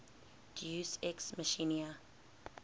deus ex machina